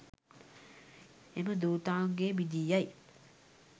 එම ධුතාංගය බිඳී යයි.